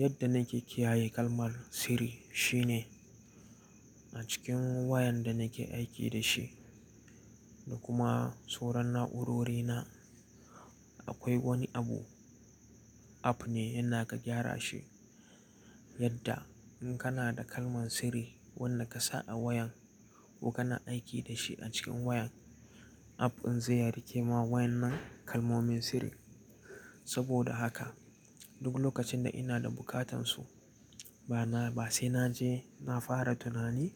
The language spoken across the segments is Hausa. Yadda nake kiyaye kalmar sirri shine a cikin wayan da nake aiki da shi da kuma soran na'urori na akwai wani abu, app ne yana kan gyara shi yadda in kana da kalman sirri wanda ka sa a wayan ko kana aiki da shi a cikin wayan app din zai rike ma waen nan kalmomin sirri. Saboda haka duk lokacin da ina da bukatan su ba na, ba sai naje na fara tunani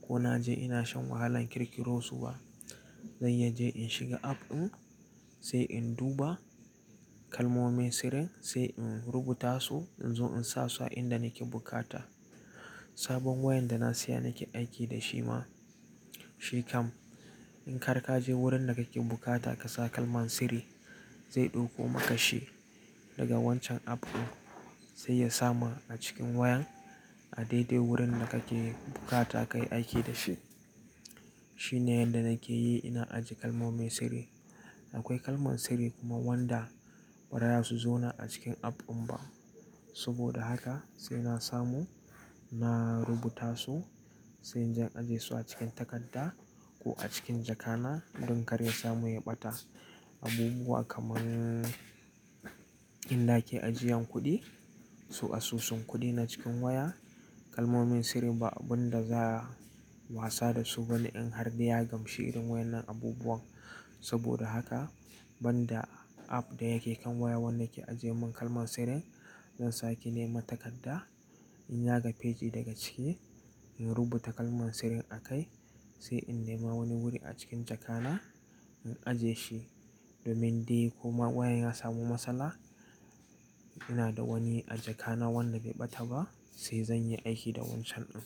ko naje ina shan wahalan kirkiro su ba. Zanyi je in shiga app din sai in duba kalmomin sirrin sai in rubuta su in zo in sa su a inda nake bukata. Sabon wayan da na siya nake aiki da shi ma shi kam in har ka je wurin da kake bukata ka sa kalman sirri zai ɗauko maka shi daga wancan app din sai ya sama a cikin wayan a daidai wurin da kake bukata kayi aiki da shi. Shine yanda nake yi ina ajiye kalmomin sirri. Akwai kalman sirri kuma wanda bara iya su zo na a cikin app din ba. Saboda haka sai na samu na rubuta su sai inje in ajiye su a cikin takarda ko a cikin jaka na don kar ya samu ya ɓata. Abubuwa kaman in nake ajiyan kuɗi su asusun kuɗi na cikin waya kalmomin sirri ba abun da za'a wasa da su ba ne in har da ya gamshi irin waen nan abubuwan. Saboda haka banda app da yake kan wayan wanda ke ajiyemin kalman sirrin zan sake nema takarda in yaga pagee daga cike in rubuta kalman sirrin a kai sai in nema wani wuri a cikin jaka na in ajiye shi domin dai ko ma wayan ya samu matsala ina da wani a jaka na wanda bai ɓata ba sai zanyi aiki da wancan din.